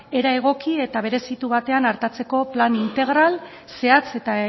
era egoki eta berezitu batean artatzeko plan integral zehatz eta